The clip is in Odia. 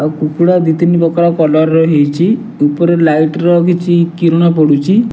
ଆଉ କୁକୁଡ଼ା ଦ୍ୱି ତିନି ପ୍ରକାରର କଲର ହେଇଚି ଉପରେ ଲାଇଟ ର କିଛି କିରଣ ପଡୁଚି।